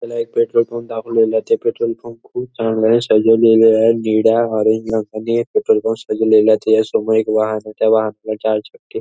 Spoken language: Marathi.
ह्याला एक पेट्रोल पंप दाखवलेला आहे. तो पेट्रोल पंप खूप चांगला सजवलेले आहे. निळ्या ऑरेंज रंगानी पेट्रोल पंप सजवलेला आहे. त्याच्या समोर वाहणाच्या त्या वाहनाला चार चक्के --